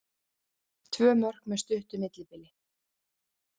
Tvö mörk með stuttu millibili